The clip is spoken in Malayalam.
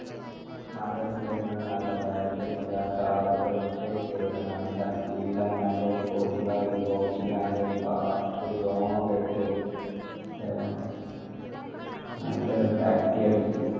മലയുടെ side ന്ന് നല്ല black tea അടിക്ക കാടിന്റെ ഒച്ചയൊക്കെ കേട്ട് നല്ല feel ആയി നല്ല spotify ൽ box ൽ നല്ല ഒരു പാട്ട് ഒക്കെ song ഇട്ട് ഏഹ് നല്ല ഒരു black tea അടിച്